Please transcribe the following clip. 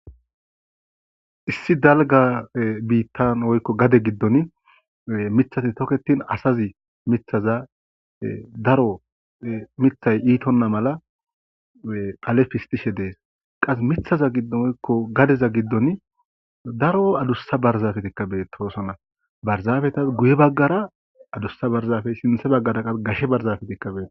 Issi dalga biittan woykko gade giddon mithati toketin asazi mithaza daro mithay iitonna mala phale fistishe dees qas mithaza giddon oykko gadeza giddon daro adussa barzafetikkabee toosonna barzaabeta guye baggara adussa barzafey sinthe baggara qal gashe barzafetikka beet